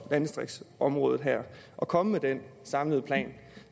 landdistriktsområdet her og komme med den samlede plan